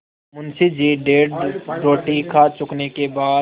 मुंशी जी डेढ़ रोटी खा चुकने के बाद